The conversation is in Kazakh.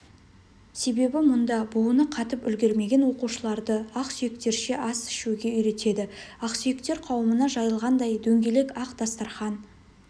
себебі мұнда буыны қатып үлгермеген оқушыларды ақсүйектерше ас ішуге үйретеді ақсүйектер қауымына жайылғандай дөңгелек ақ дастарқан